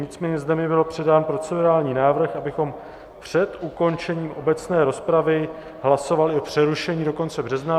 Nicméně zde mi byl předán procedurální návrh, abychom před ukončením obecné rozpravy hlasovali o přerušení do konce března.